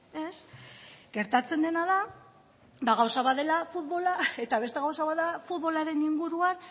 ez gertatzen dena da gauza bat dela futbola eta beste gauza bat da futbolaren inguruan